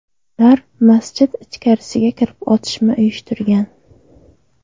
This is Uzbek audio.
Ular masjid ichkarisiga kirib, otishma uyushtirgan.